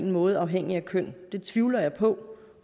måde afhængigt af køn det tvivler jeg på